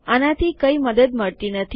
આનાથી કઈ મદદ મળતી નથી